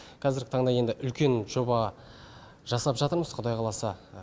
қазіргі таңда енді үлкен жоба жасап жатырмыз құдай қаласа